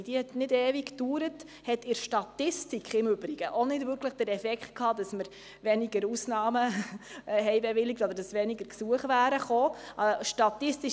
Sie hat nicht ewig gedauert, und sie hatte in der Statistik nicht den Effekt, dass wir weniger Ausnahmen bewilligt haben oder dass weniger Gesuche eingereicht worden sind.